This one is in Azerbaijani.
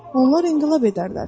onlar inqilab edərlər.